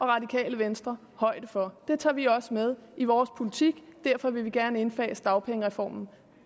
radikale venstre højde for det tager vi også med i vores politik derfor vil vi gerne indfase dagpengereformen